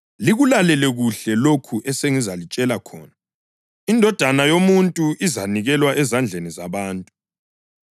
“Likulalele kuhle lokhu esengizalitshela khona: Indodana yoMuntu izanikelwa ezandleni zabantu.”